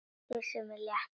Kyssir mig létt.